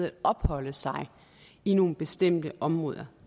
at opholde sig i nogle bestemte områder